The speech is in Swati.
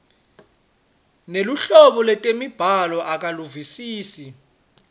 neluhlobo lwetemibhalo akaluvisisi